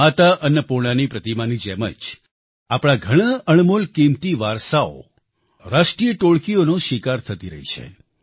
માતા અન્નપૂર્ણાની પ્રતિમાની જેમ જ આપણા ઘણાં અણમોલ કિંમતી વારસાઓ રાષ્ટ્રિય ટોળકીઓનો શિકાર થતી રહી છે